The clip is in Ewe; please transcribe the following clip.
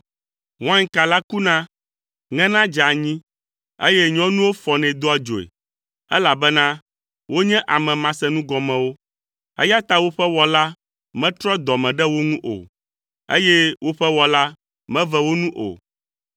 Wainka la kuna, ŋena dzea anyi, eye nyɔnuwo fɔnɛ doa dzoe, elabena wonye ame masenugɔmewo. Eya ta woƒe Wɔla metrɔ dɔ me ɖe wo ŋu o, eye woƒe Wɔla meve wo nu o.